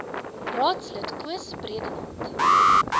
raadslid koos bredenhand